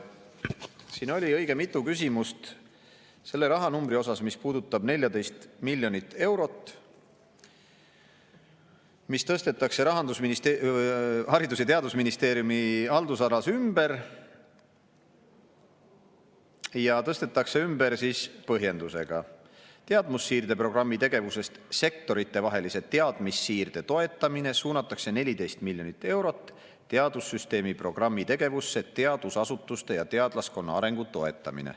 Siin oli õige mitu küsimust selle rahanumbri kohta, selle 14 miljoni euro kohta, mis tõstetakse Haridus‑ ja Teadusministeeriumi haldusalas ümber, ja tõstetakse ümber põhjendusega: teadmussiirde programmi tegevusest "Sektoritevahelise teadmissiirde toetamine" suunatakse 14 miljonit eurot teadussüsteemi programmi tegevusse "Teadusasutuste ja teadlaskonna arengu toetamine".